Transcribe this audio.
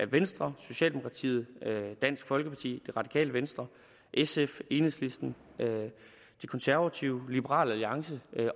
venstre socialdemokratiet dansk folkeparti det radikale venstre sf enhedslisten de konservative liberal alliance